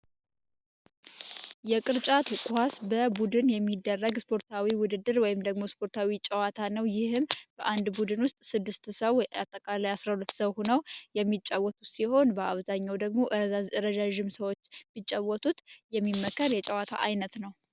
የቅርጫት ኳስ በቡድን የሚደረግ ስፖርታዊ ጨዋታ ወይም ውድድር ነው። ይህም በአንድ ቡድን ውስጥ ስድስት ወይም አጠቃላይ አስራ ሁለት ሰው ሁነው የሚጫወቱት ሲሆን በአብዛኛው ደግሞ ረጃጅም ሰዎች እንዲጫወቱት የሚመከር የጨዋታ አይነት ነው።